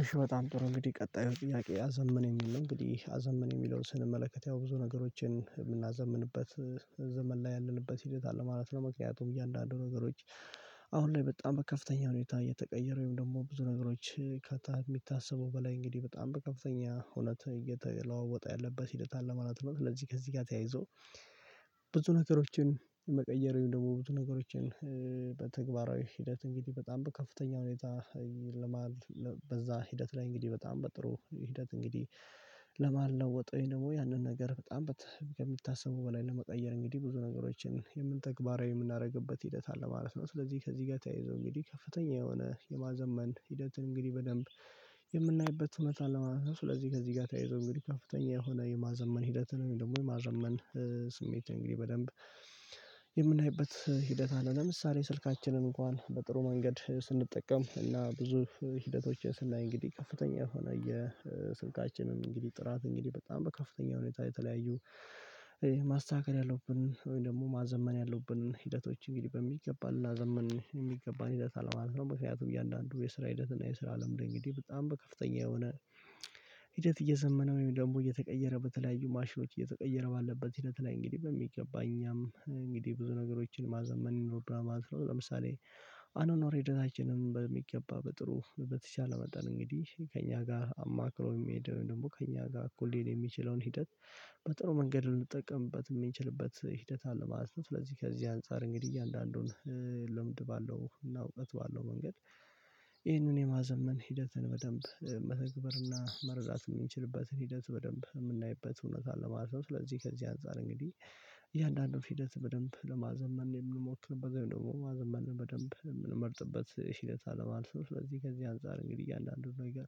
እሺ በጣም ጥሩ እንግዲህ ቀጣዩ ጥያቄ አዘመነ የሚል ነው። እንግዲህ አዘመነ የሚለውን ስንመለከት ያው ብዙ ነገሮችን የምናዘምንበት ዘመን ላይ ያለንበት ሂደት አለ ማለት ነው። ምክንያቱም እያለ አንዳንዱ ነገሮች አሁን ላይ በጣም በከፍተኛ ሁኔታ እየተቀየረ ወይም ደግሞ ብዙ ነገሮች ከታ የሚታሰበው በላይ እንግዲህ በጣም በከፍተኛ ሁኔታ እየተለዋወጠ ያለበት ሂደት አለ ማለት ነው። ስለዚህ ከዚህ ጋር ተያይዞ ብዙ ነገሮችን መቀየር ወይም ደግሞ ብዙ ነገሮችን በተግባራዊ ሂደት እንግዲህ በጣም ከፍተኛ ሁኔታ ለመሃል በዛ ሂደት ላይ እንግዲህ በጣም በጥሩ ሂደት እንግዲህ ለመለወጥ ወይም ደግሞ ያንን ነገር በጣም ከሚታሰበው በላይ ለመቀየር እንግዲህ ብዙ ነገሮችን የምን ተግባራዊ የምናደርግበት ሂደት አለ ማለት ነው። ስለዚህ ከዚህ ጋር ተያይዞ እንግዲህ ከፍተኛ የሆነ የማዘመን ሂደትን እንግዲህ በደንብ የምናይበት እውነት አለው ማለት ነው። ስለዚህ ከዚህ ጋር ተያይዞ እንግዲህ ከፍተኛ የሆነ የማዘመን ሂደትን ወይም ደግሞ የማዘመን ስሜት እንግዲህ በደንብ የምናይበት ሂደት አለ። ለምሳሌ ስልካችንን እንኳን በጥሩ መንገድ ስንጠቀም እና ብዙ ሂደቶች ስናይ እንግዲህ፤ ከፍተኛ የሆነ የስልካችንም እንግዲህ ጥራት እንግዲህ በጣም በከፍተኛ ሁኔታ የተለያዩ ማስተካከል ያለብን ወይም ደግሞ ማዘመን ያሉብን ሂደቶች እንግዲህ በሚገባን ልናዘምን የሚገባን ሂደት አለ ማለት ነው። በምክንያቱም እያንዳንዱ የስራ ሂደት እና የስራ አለም እንግዲህ በጣም በከፍተኛ የሆነ ሂደት እየዘመነ ወይም ደግሞ እየተቀየረ በተለያዩ ማሽኖች እየተቀየረ ባለበት ሂደት ላይ እንግዲህ በሚገባ እኛም እንግዲህ ብዙ ነገሮችን ማዘመን ይኖርብናል ማለት ነው። ለምሳሌ አኗኗር ሂደታችንም በሚገባ በጥሩ በተቻለ መጠን እንግዲህ ከእኛ ጋር አማክሮ የሚሄድ ወይም ደግሞ ከእኛ ጋር እኩል ሊሄድ የሚችለውን ሂደት በጥሩ መንገድ ልንጠቀምበት የምንችልበት ሂደት አለ ማለት ነው። ስለዚህ ከዚህ አንፃር እንግዲህ እያንዳንዱን ልምድ ባለውና እውቀት ባለው መንገድ ይህንን የማዘመን ሂደትን በደንብ መተግበርና መረዳት የምንችልበትን ሂደት በደንብ የምናይበት ሁኔታ አለ ማለት ነው። ስለዚህ ከዚህ አንፃር እንግዲህ እያንዳንዱን ሂደት በደንብ ለማዘመን የምንሞክርበት ደግሞ ማዘመን በደንብ የምንመርጥበት ሂደት አለ ማለት ነው። ስለዚህ ከዚህ አንፃር እንግዲህ አንዳንዱ ነገር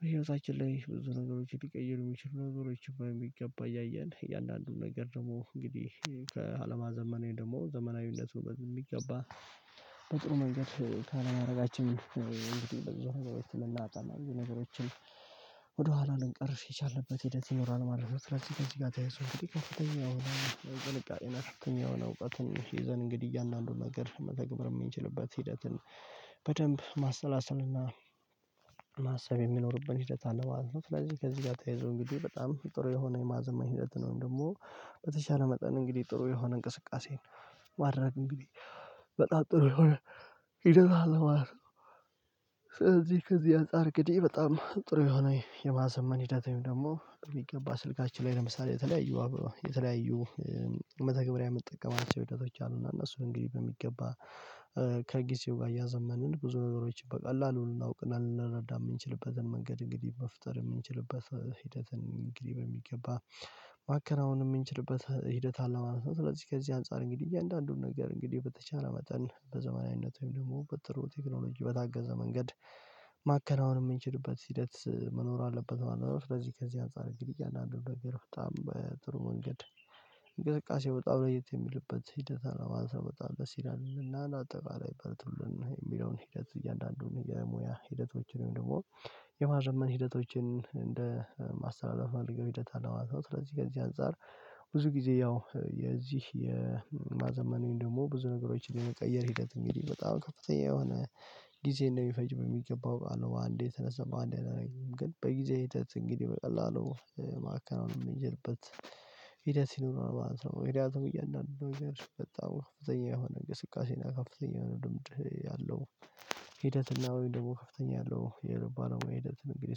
በህይወታችን ላይ ብዙ ነገሮችን ሊቀይሩ የሚችሉ ነገሮችን በሚገባ እያየን እያንዳንዱን ነገር ደግሞ እንግዲህ ከአለማዘመን ወይም ደግሞ ዘመናዊነቱ በሚገባ በጥሩ መንገድ ካለማድረጋችን እንግዲህ ብዙ ነገሮች ልናጣ ብዙ ነገሮችን ወደኋላ ልንቀር የቻልንበት ሂደት ይኖራል ማለት ነው። ስለዚህ ከዚህ ጋር ተያይዞ እንግዲህ ከፍተኛ የሆነ ጥንቃቄ እና ከፍተኛ የሆነ እውቀትን ይዘን እንግዲህ እያንዳንዱን ነገር መተግበር የምንችልበት ሂደትን በደንብ ማሰላሰልና ማሰብ የሚኖርብን ሂደት አለ ማለት ነው። ስለዚህ ከዚህ ጋር ተያይዞ እንግዲህ በጣም ጥሩ የሆነ የማዘመን ሂደትን ወይም ደግሞ በተቻለ መጠን እንግዲህ ጥሩ የሆነ እንቅስቃሴን ማድረግ እንግዲህ በጣም ጥሩ የሆነ ሂደት አለ ማለት ነው። ስለዚህ ከዚህ አንፃር እንግዲህ በጣም ጥሩ የሆነ የማዘመን ሂደት ወይም ደግሞ በሚገባ ስልካችን ላይ ለምሳሌ የተለያዩ የተለያዩ መተግበሪያ የምጠቀማቸው ሂደቶች አሉና እነሱ እንግዲህ በሚገባ ከጊዜው ጋር እያዘመንን ብዙ ነገሮችን በቀላሉ ልናውቅና ልንረዳ የምንችልበትን መንገድ እንግዲህ መፍጠር የምንችልበት ሂደትን እንግዲህ በሚገባ ማከናወን የምንችልበት ሂደት አለ ማለት ነው። ስለዚህ ከዚህ አንፃር እንግዲህ እያንዳንዱን ነገር እንግዲህ በተቻለ መጠን በዘመናዊነት ወይም ደግሞ በጥሩ ቴክኖሎጂ በታገዘ መንገድ ማከናወን የምንችልበት ሂደት መኖር አለበት ማለት ነው። ስለዚህ ከዚህ አንፃር እንግዲህ እያንዳንዱን ነገር በጣም በጥሩ መንገድ እንቅስቃሴ በጣም ለየት የሚልበት ሂደት አለ ማለት ነው። በጣም ደስ ይላል እና አንዳጠቃላይ በርቱልን የሚለውን ሂደት እያንዳንዱን የሙያ ሂደቶችን ወይም ደግሞ የማዘመን ሂደቶችን እንደ ማስተላለፍ የሚያደርገው ሂደት አለ ማለት ነው። ስለዚህ ከዚህ አንፃር ብዙ ጊዜ ያው የዚህ የማዘመን ወይም ደግሞ ብዙ ነገሮችን የመቀየር ሂደት እንግዲህ በጣም ከፍተኛ የሆነ ጊዜ እንደሚፈጅ በሚገባ አውቃለሁ። በአንዴ ተነስተን በአንዴ አናረግም። ግን በጊዜ ሂደት እንግዲህ በቀላሉ ማከናወን የምንጀምርበት ሂደት ሲኖር ነው ማለት ነው። ምክንያቱም እያንዳንዱ ነገር በጣም ከፍተኛ የሆነ እንቅስቃሴ ነው ከፍተኛ የሆነ ልምድ ያለው ሂደትና ወይ ደግሞ ከፍተኛ ያለው የልብ ባለሙያ ሂደት እንግዲህ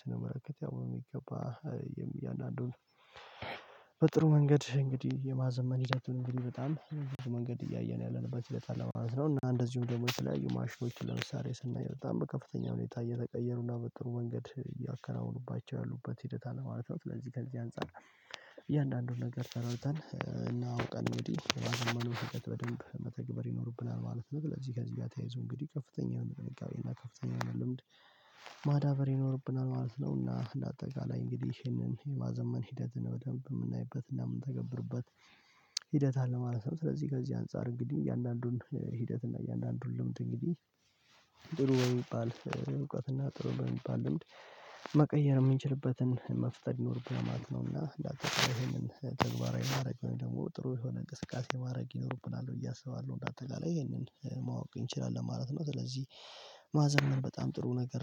ስነመለከት፤ ያው የሚገባ እያንዳንዱን በጥሩ መንገድ እንግዲህ የማዘመን ሂደቱን እንግዲህ በጣም ብዙ መንገድ እያየን ያለንበት ሂደት አለ ማለት ነው። እና እንደዚሁም ደግሞ የተለያዩ ማሽኖችን ለምሳሌ ስናይ በጣም በከፍተኛ ሁኔታ እየተቀየሩና በጥሩ መንገድ እያከናወኑባቸው ያሉበት ሂደት አለ ማለት ነው። ስለዚህ ከዚህ አንፃር እያንዳንዱን ነገር ተረድተን እና አውቀን እንግዲህ የማዘመኑን ሂደት በደንብ መተግበር ይኖርብናል ማለት ነው። ስለዚህ ከዚህ ጋር ተያይዞ እንግዲህ ከፍተኛ የሆነ ጥንቃቄ እና ከፍተኛ ልምድ ማዳበር ይኖርብናል ማለት ነው። እና አንዳጠቃላይ እንግዲህ ይሄንን የማዘመን ሂደትን በደንብ የምናይበት እና የምንተገብርበት ሂደት አለ ማለት ነው። ስለዚህ ከዚህ አንፃር እንግዲህ እያንዳንዱን ሂደት እና እያንዳንዱን ልምድ እንግዲህ ጥሩ በሚባል እውቀት እና ጥሩ በሚባል ልምድ መቀየር የምንችልበትን መፍጠር ይኖርብናል ማለት ነው። እና አንዳጠቃላይ ይሄንን ተግባራዊ ማድረግ ወይም ደግሞ ጥሩ የሆነ እንቅስቃሴ ማድረግ ይኖርብናል ብዬ አስባለሁ። እና እንዳጠቃላይ ይሄንን ማወቅ እንችላለን ማለት ነው። ስለዚህ ማዘመን በጣም ጥሩ ነገር